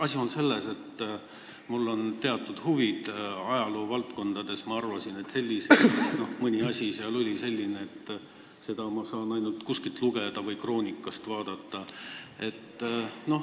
Asi on selles, et mul on teatud huvid ajaloovaldkonnas ja mõni asi oli selline, mille kohta ma arvasin, et ma saan seda ainult kuskilt lugeda või kroonikast vaadata.